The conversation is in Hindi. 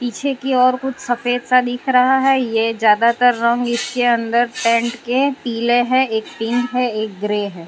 पीछे की और कुछ सफेद सा दिख रहा है ये ज्यादातर रंग इसके अंदर टेंट के पीले है एक पिंक है एक ग्रे है।